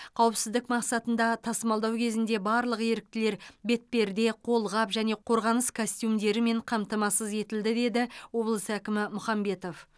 қауіпсіздік мақсатында тасымалдау кезінде барлық еріктілер бетперде қолғап және қорғаныс костюмдерімен қамтамасыз етілді деді облыс әкімі мұхамбетов